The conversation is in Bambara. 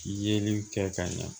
Yeliw kɛ ka ɲa